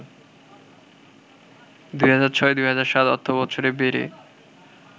২০০৬-০৭ অর্থবছরে বেড়ে